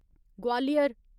Gwalior